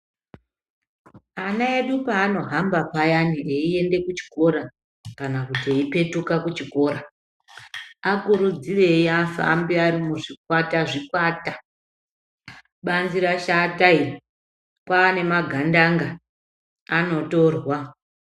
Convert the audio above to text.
Anaedu panohamba payani eiende kuchikora kana kuti eipetuke kuchikora akurudzirei afambe arimuzvikwata muzvikwata banzi rashata iri kwane magandanga anotorwa.